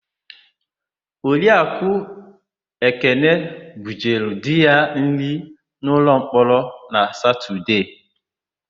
Oriakụ Ekene bujere di ya nri n'ụlọmkpọrọ na Satọdee.